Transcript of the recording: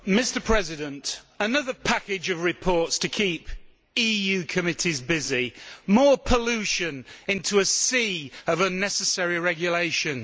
Mr President, another package of reports to keep EU committees busy, more pollution into a sea of unnecessary regulations.